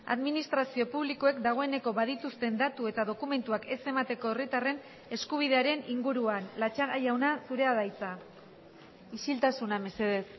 administrazio publikoek dagoeneko badituzten datu eta dokumentuak ez emateko herritarren eskubidearen inguruan latxaga jauna zurea da hitza isiltasuna mesedez